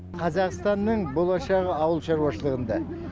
қазақстанның болашағы ауыл шаруашылығында